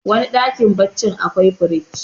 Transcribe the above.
wani dakm baccin akwai firji